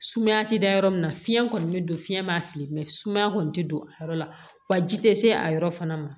Sumaya tɛ da yɔrɔ min na fiɲɛ kɔni bɛ don fiyɛn m'a fili sumaya kɔni tɛ don a yɔrɔ la wa ji tɛ se a yɔrɔ fana ma